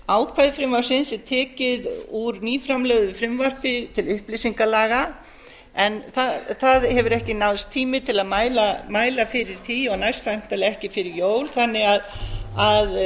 ákvæði frumvarpsins er tekið úr nýframlögðu frumvarpi til upplýsingalaga en það hefur ekki náðst tími til að mæla fyrir því og næst væntanlega ekki fyrir jól þannig að